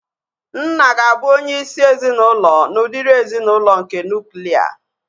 Nna ga-abụ onye isi ezinaụlọ n'udiri ezinaụlọ nke nuklia